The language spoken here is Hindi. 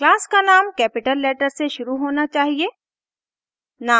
class का नाम कैपिटल लेटर से शुरू होना चाहिए